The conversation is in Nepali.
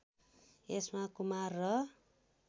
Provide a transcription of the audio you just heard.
यसमा कुमार र